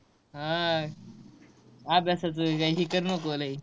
हा. अभ्यासाच काय हे करू नको लय?